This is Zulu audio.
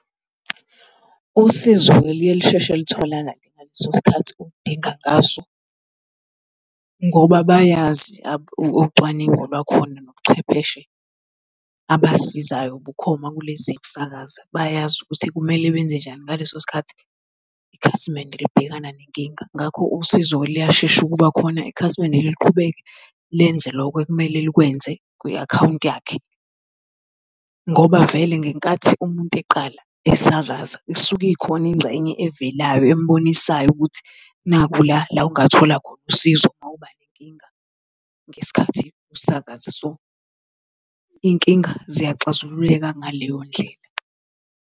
Usizo-ke liye lusheshe litholakale ngaleso sikhathi ulidinga ngaso ngoba bayazi ucwaningo lwakhona nobuchwepheshe abasisizayo bukhoma kulezi zemisakaza. Bayazi ukuthi kumele benze njani ngaleso sikhathi ikhasimende libhekana nenkinga. Ngakho usizo-ke liyashesha ukuba khona ikhasimende liqhubeke lenze loko ekumele likwenze kwi-akhawunti yakhe. Ngoba vele ngenkathi umuntu eqala esakaza isuke ikhona ingxenye evelayo embonisayo ukuthi nakhu la la ongathola khona usizo mawuba nenkinga ngesikhathi usakaza. So, iy'nkinga ziyaxazululeka ngaleyo ndlela.